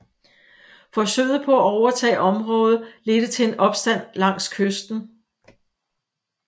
Forsøget på at overtage området ledte til en opstand langs kysten